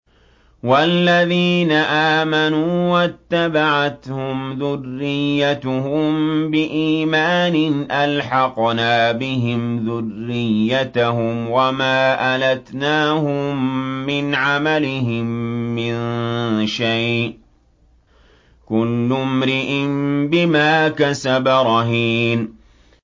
وَالَّذِينَ آمَنُوا وَاتَّبَعَتْهُمْ ذُرِّيَّتُهُم بِإِيمَانٍ أَلْحَقْنَا بِهِمْ ذُرِّيَّتَهُمْ وَمَا أَلَتْنَاهُم مِّنْ عَمَلِهِم مِّن شَيْءٍ ۚ كُلُّ امْرِئٍ بِمَا كَسَبَ رَهِينٌ